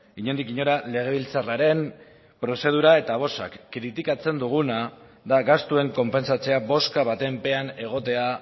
inondik inora legebiltzarraren prozedura eta bozak kritikatzen duguna da gastuen konpentsatzea bozka baten pean egotea